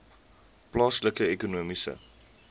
plaaslike ekonomiese